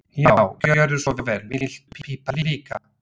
Já, gjörðu svo vel. Viltu pipar líka?